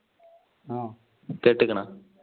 കെട്ടിക്കണ?